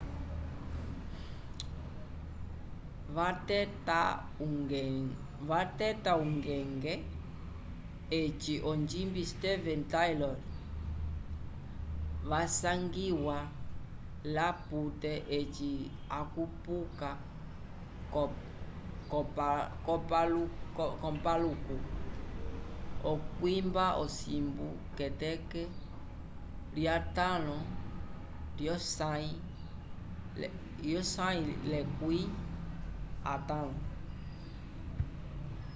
vateta ungenge eci onjimbi steven tyler wasangiwa l'apute eci akupuka k'opaluku k'okwimba ovisungo k'eteke lya 5 lyosãyo lyekwẽ atãlo